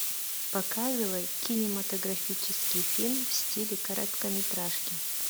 показывай кинематографический фильм в стиле короткометражки